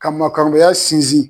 Ka maakɔmaya sinzin.